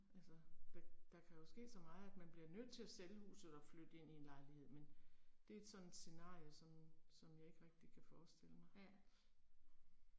Altså der, der kan jo ske så meget at man bliver nødt til at sælge huset og flytte ind i en lejlighed men det er sådan et scenarie som som jeg ikke rigtig kan forestille mig